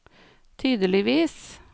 tydeligvis